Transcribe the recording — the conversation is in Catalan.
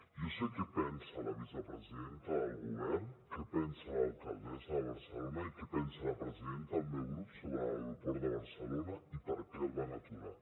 jo sé què pensa la vicepresidenta del govern què pensa l’alcaldessa de barcelona i què pensa la presidenta del meu grup sobre l’aeroport de barcelona i per què el van aturar